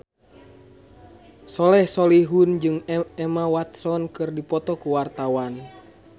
Soleh Solihun jeung Emma Watson keur dipoto ku wartawan